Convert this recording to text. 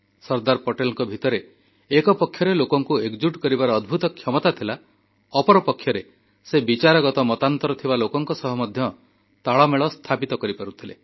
ସର୍ଦ୍ଦାର ପଟେଲଙ୍କ ଭିତରେ ଗୋଟିଏ ପଟେ ଲୋକଙ୍କୁ ଏକଜୁଟ କରିବାର ଅଦ୍ଭୁତ କ୍ଷମତା ଥିଲା ଅନ୍ୟପଟେ ସେ ବିଚାରଗତ ମତାନ୍ତର ଥିବା ଲୋକଙ୍କ ସହ ମଧ୍ୟ ତାଳମେଳ ପ୍ରତିଷ୍ଠା କରିପାରୁଥିଲେ